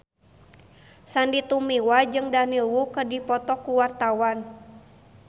Sandy Tumiwa jeung Daniel Wu keur dipoto ku wartawan